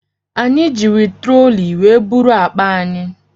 Anyị jiri troli were buru akpa anyị.